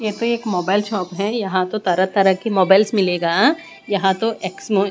ये तो एक मोबाइल शॉप है यहां तो तरह-तरह की मोबाइल्स मिलेगा यहां तो एक्समो--